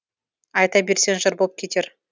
айта берсең жыр болып кетер